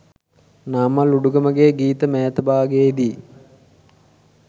නාමල් උඩුගමගේ ගීත මෑත භාගයේ දී